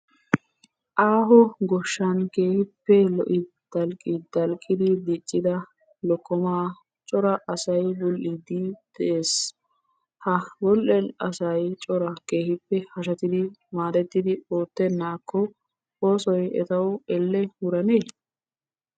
Aaho goshshan keehippe lo'i dalqqidalqidi dicidda lokkomaa cora asay bul'idi de'ees. Ha bul'iyaa asay cora keehippe hashshettidi maadetti oottenakko oosoy etawu elle wuranne?